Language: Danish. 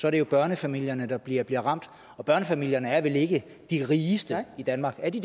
er det børnefamilierne der bliver bliver ramt og børnefamilierne er vel ikke de rigeste i danmark er de